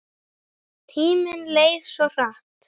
Tíminn leið svo hratt.